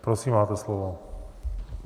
Prosím, máte slovo.